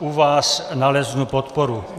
u vás naleznu podporu.